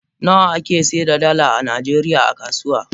Nawa ake seda dala a najeriya a kasuwa?